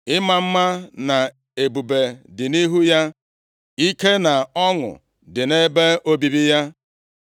Ịma mma na ebube dị nʼihu ya; ike na ọṅụ dị nʼebe obibi ya.